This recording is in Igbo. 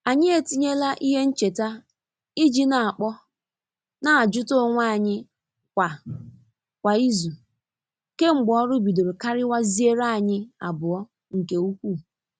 Anyị etinyela ihe ncheta i ji n'akpọ n'ajuta onwe anyi kwa kwa izu kemgbe ọrụ bidoro kariwaziere anyi abụọ nke ukwuu.